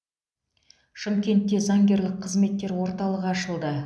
шымкентте заңгерлік қызметтер орталығы ашылды